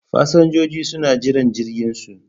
Fasinjojin suna jiran jirginsu.